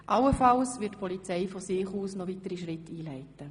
Die Polizei wird allenfalls von sich aus weitere Schritte einleiten.